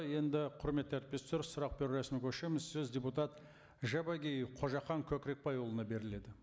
енді құрметті әріптестер сұрақ беру рәсіміне көшеміз сөз депутат жабағиев қожахан көкірекбайұлына беріледі